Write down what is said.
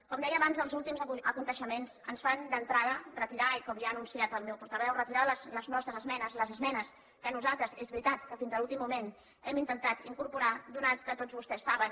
com deia abans els últims esdeveniments ens fan d’entrada i com ja ha anunciat el meu portaveu retirar les nostres esmenes les esmenes que nosaltres és veritat que fins a l’últim moment hi hem intentat incorporar ja que tots vostès saben